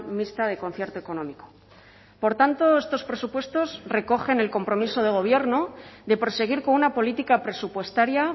mixta de concierto económico por tanto estos presupuestos recogen el compromiso de gobierno de proseguir con una política presupuestaria